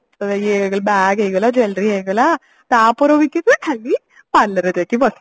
ଇଏ bag ହେଇଗଲା jewelry ହେଇଗଲା ତାପର weekend ରେ ଖାଲି parlor ରେ ଯାଇକି